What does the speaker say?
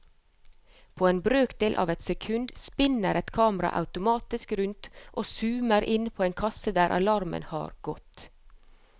På en brøkdel av et sekund spinner et kamera automatisk rundt og zoomer inn på en kasse der alarmen har gått.